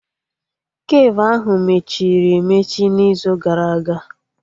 Kafe ahụ mechiri emechi n'izu gara aga